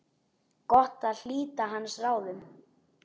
Gott að hlíta hans ráðum.